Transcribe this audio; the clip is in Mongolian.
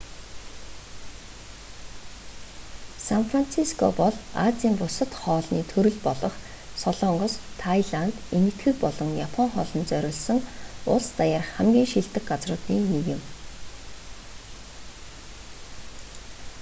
сан франциско бол азийн бусад хоолны төрөл болох солонгос тайланд энэтхэг болон япон хоолонд зориулсан улс даяарх хамгийн шилдэг газруудын нэг юм